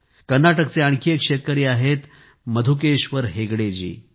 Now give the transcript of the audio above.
कर्नाटकचे आणखी एक शेतकरी आहेत मधुकेश्वर हेगडेजी